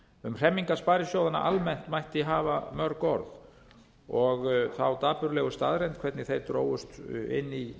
um hremmingar sparisjóðanna almennt mætti hafa mörg orð og hina dapurlegu staðreynd hvernig þeir drógust inn í